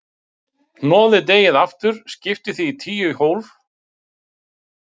Hnoðið deigið aftur, skiptið því í tíu til tólf jafna hluta og mótið bollur.